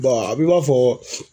a b'i b'a fɔ